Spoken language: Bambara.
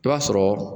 I b'a sɔrɔ